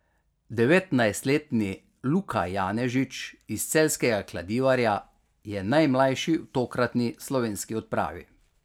Devetnajstletni Luka Janežič iz celjskega Kladivarja je najmlajši v tokratni slovenski odpravi.